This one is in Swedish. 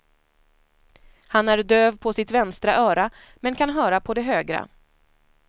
Han är döv på sitt vänstra öra, men kan höra på det högra.